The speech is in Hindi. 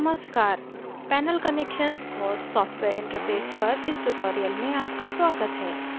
नमस्कार panel connections और software interface पर इस tutorial में आपका स्वागत है